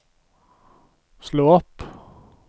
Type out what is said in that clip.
slå opp